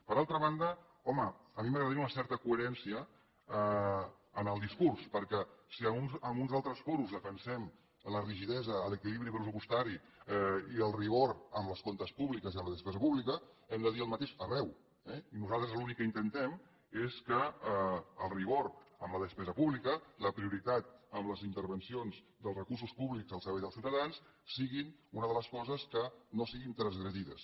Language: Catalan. per altra banda home a mi m’agradaria una certa coherència en el discurs perquè si en uns altres fòrums defensem la rigidesa l’equilibri pressupostari i el rigor en els comptes públics i en la despesa pública hem de dir el mateix arreu eh i nosaltres l’únic que intentem és que el rigor en la despesa pública la prioritat en les intervencions dels recursos públics al servei dels ciutadans siguin una de les coses que no siguin transgredides